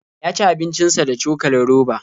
Ya ci abincin sa da cokalin roba.